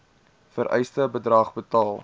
vereiste bedrag betaal